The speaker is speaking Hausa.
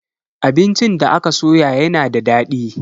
Abincin da aka soya yana da dadi.